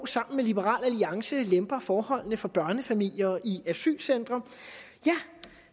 sammen med liberal alliance lemper forholdene for børnefamilier i asylcentre ja